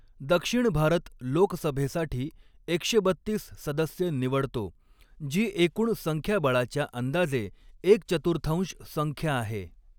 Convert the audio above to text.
दक्षिण भारत लोकसभेसाठी एकशे बत्तीस सदस्य निवडतो, जी एकूण संख्याबळाच्या अंदाजे एक चतुर्थांश संख्या आहे.